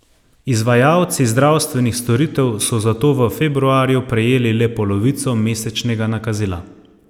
Izvajalci zdravstvenih storitev so zato v februarju prejeli le polovico mesečnega nakazila.